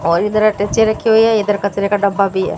और इधर अटैची रखी हुई है। इधर कचरे का डब्बा भी है।